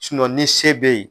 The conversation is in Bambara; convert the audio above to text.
ni se bɛ ye.